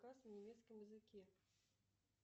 кас на немецком языке